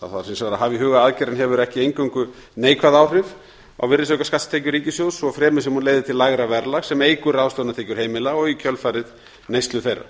að hafa í huga að aðgerðin hefur ekki eingöngu neikvæð áhrif á virðisaukaskattstekjur ríkissjóðs svo fremi sem hún leiðir til lægra verðlags sem eykur ráðstöfunartekjur heimila og í kjölfarið neyslu þeirra